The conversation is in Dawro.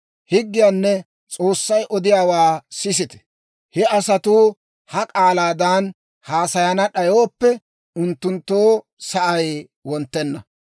Higgiyaanne S'oossay odiyaawaa sisite! He asatuu ha k'aalaadan haasayana d'ayooppe, unttunttoo sa'ay wonttenna.